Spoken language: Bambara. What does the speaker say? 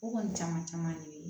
O kɔni caman caman de be ye